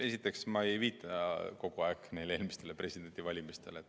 Esiteks, ma ei viita kogu aeg eelmistele presidendivalimistele.